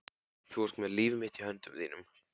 Þú ert með líf mitt í höndum þínum.